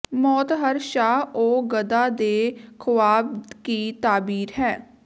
ਮੌਤ ਹਰ ਸ਼ਾਹ ਓ ਗਦਾ ਕੇ ਖ਼੍ਵਾਬ ਕੀ ਤਾਬੀਰ ਹੈ